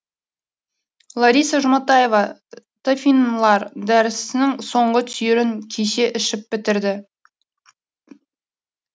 лариса жұматаева тафинлар дәрісінің соңғы түйірін кеше ішіп бітірді